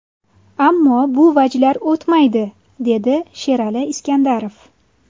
Ammo bu vajlar o‘tmaydi”, dedi Sherali Iskandarov.